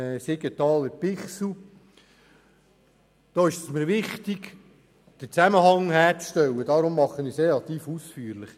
Siegenthaler/Bichsel: Da ist es mir wichtig, den Zusammenhang herzustellen, deshalb tue ich dies relativ ausführlich.